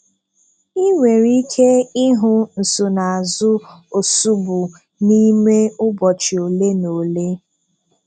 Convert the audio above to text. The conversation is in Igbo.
Ị̀ nwere ike ị́hụ̀ ǹsonaazụ̀ ǒsụ́bụ̀ n’ìmè ụ̀bọ̀chị́ ọ́lé na ọ́lé.